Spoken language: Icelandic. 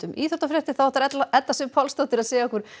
íþróttafréttum þá ætlar Edda Sif Pálsdóttir að segja okkur